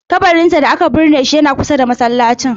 Kabarinsa da aka binne shi yana kusa da masallacin.